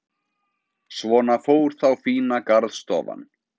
Svona fór þá fína garðstofan.